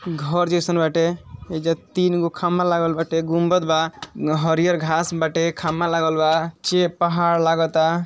घर जईसन बाटे एईजा तीन गो खम्भा लागल बाटे गुम्बद बा हरिअर घास बाटे खम्भा लागल बा पहाड़ लागता।